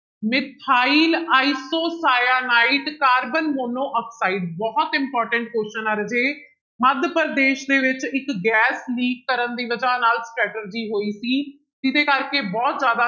methyl isocyanate, carbon monoxide ਬਹੁਤ important question ਆ ਰਾਜੇ, ਮੱਧ ਪ੍ਰਦੇਸ਼ ਦੇ ਵਿੱਚ ਇੱਕ ਗੈਸ leak ਕਰਨ ਦੀ ਵਜਾ ਨਾਲ ਹੋਈ ਸੀ ਜਿਹਦੇ ਕਰਕੇ ਬਹੁਤ ਜ਼ਿਆਦਾ